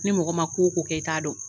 Ni mɔgɔ man ko o ko kɛ i ta dɔn.